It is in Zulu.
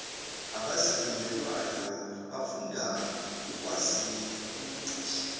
abazifundelwayo bafunda ukwaziukuthi